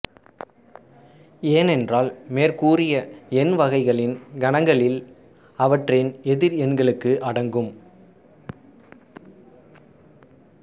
ஏனென்றால் மேற்கூறிய எண்வகைகளின் கணங்களில் அவற்றின் எதிர் எண்களும் அடங்கும்